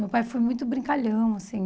Meu pai foi muito brincalhão, assim.